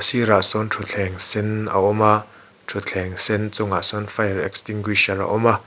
ah sawn thuthleng sen a awm a thuthleng sen chungah sawn fire extinguisher a awm a.